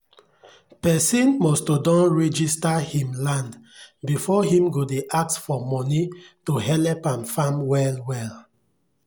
pesin must to don register him land before him go dey ask for moni to helep am farm well well